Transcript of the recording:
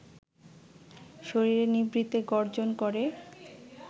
শরীরে নিভৃতে গর্জন করে